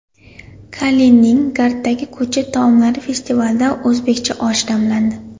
Kaliningraddagi ko‘cha taomlari festivalida o‘zbekcha osh damlandi .